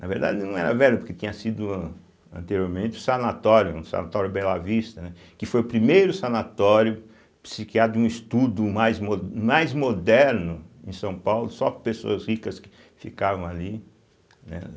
Na verdade, não era velha, porque tinha sido, anteriormente, um sanatório, o sanatório Bela Vista, né, que foi o primeiro sanatório psiquiátrico de um estudo mais mo mais moderno em São Paulo, só pessoas ricas que ficavam ali, né